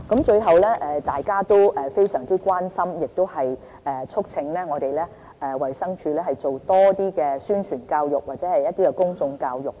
最後，大家非常關心和促請衞生署多做一些宣傳教育和公眾教育。